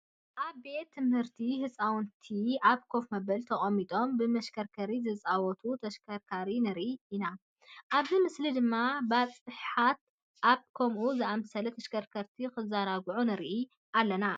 ኣብ ቤት ትምህርቲ ህፃውንቲ ኣብ ኮፍ መበሊ ተቐሚጦም ብምሽክርካር ዝፃወትሉ ተሽከርካሪ ንርኢ ኢና፡፡ ኣብዚ ምስሊ ድማ ባፅሓት ኣብ ከምኡ ዝኣምሰለ ተሽከርካር እንትዘናግዑ ንርኢ ኣለና፡፡